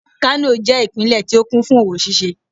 kano je ipinle ti o kún fún owo ṣíṣe